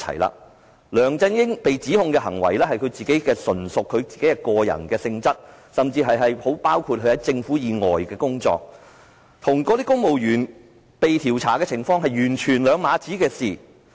梁振英被指控的行為，純屬他的個人行為，甚至包括他在政府以外的工作，與公務員被調查的情況是兩碼子事。